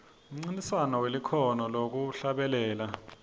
umncintiswano welikhono lekuhlabelela